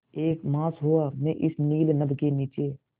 एक मास हुआ मैं इस नील नभ के नीचे